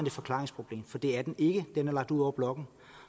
et forklaringsproblem for det er den ikke den er lagt ud over blokken